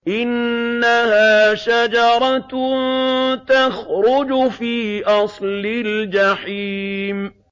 إِنَّهَا شَجَرَةٌ تَخْرُجُ فِي أَصْلِ الْجَحِيمِ